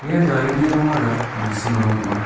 ia garini rongara gisim rong ong·a.